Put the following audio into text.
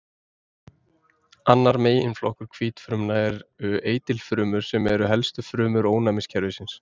Annar meginflokkur hvítfrumna eru eitilfrumur sem eru helstu frumur ónæmiskerfisins.